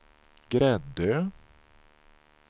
Gräddö